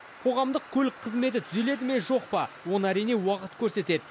қоғамдық көлік қызметі түзеледі ме жоқ па оны әрине уақыт көрсетеді